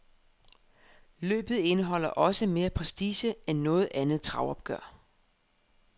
Løbet indeholder også mere prestige end noget andet travopgør.